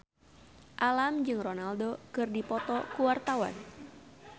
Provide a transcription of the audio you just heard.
Alam jeung Ronaldo keur dipoto ku wartawan